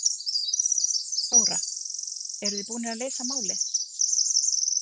Þóra: Eruð þið búnir að leysa málið?